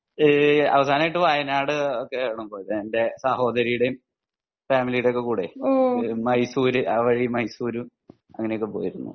അവസാനായിട്ട് വയനാട് ഒക്കെ ആണ് പോയത് എൻ്റെ സഹോദരിയുടേം ഫാമിലിടേം ഒക്കെ കൂടെ മൈസൂർ ആ വഴി മൈസൂരും അങ്ങിനെ ഒക്കെ പോയിരുന്നു